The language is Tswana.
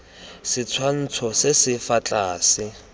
setshwantsho se se fa tlase